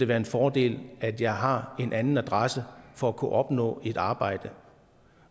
være en fordel at jeg har en anden adresse for at kunne opnå et arbejde